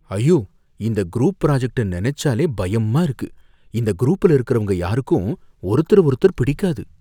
ஐயோ! இந்த குரூப் ப்ராஜக்ட்ட நனைச்சாலே பயமா இருக்கு, இந்த குரூப்ல இருக்குறவங்க யாருக்கும் ஒருத்தர ஒருத்தர் பிடிக்காது